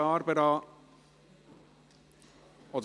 – Danke, Barbara Mühlheim.